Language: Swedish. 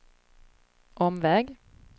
omväg